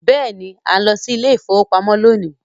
Yes, we are going to the bank today